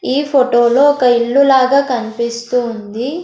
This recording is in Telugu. ఈ ఫొటో లో ఒక ఇల్లు లాగా కన్పిస్తూ ఉంది.